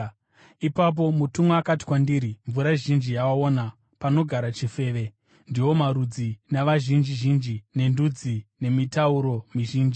Ipapo mutumwa akati kwandiri, “Mvura zhinji yawaona, panogara chifeve, ndiwo marudzi, navazhinji zhinji, nendudzi nemitauro mizhinji.